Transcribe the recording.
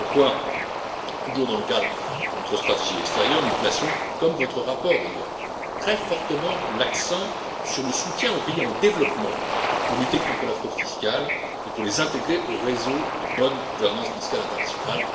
C'est pourquoi, toujours dans le cadre de notre stratégie extérieure, nous plaçons comme votre rapport d'ailleurs très fortement l'accent sur le soutien aux pays en développement pour lutter contre la fraude fiscale et pour les intégrer au réseau de bonne gouvernance fiscale internationale.